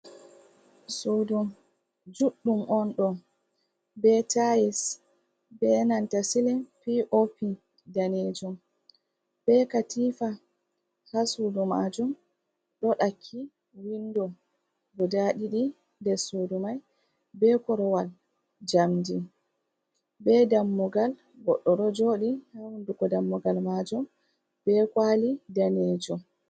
Sudu juɗɗum on ɗo be tais be nanta Silin, P. O. P. danejum be katifa ha sudu majum ɗo ɗakki windo guda ɗiɗi nder sudu mai be korowal jamdi be dammugal goɗɗo ɗo joɗi ha hunduko dammugal majum be kwali danejum.